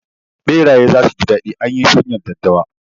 Ɓeraye zasu ji daɗi anyi shanyar daddawa